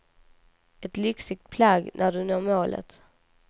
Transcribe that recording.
Ett lyxigt plagg när du når målet.